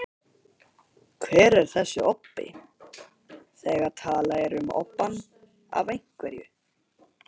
Hver er þessi obbi, þegar talað er um obbann af einhverju?